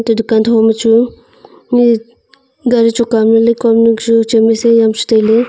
dukan thoma chu gari choka am ning koa chu chem aa si chu tailey.